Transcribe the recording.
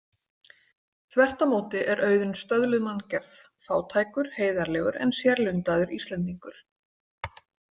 Þvert á móti er Auðunn stöðluð manngerð: fátækur, heiðarlegur en sérlundaður Íslendingur.